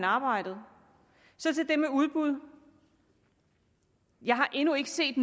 arbejdet så til det med udbud jeg har endnu ikke set